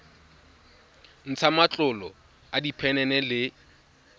ntsha matlolo a diphenene le